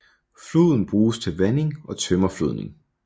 Floden bruges til vanding og tømmerflådning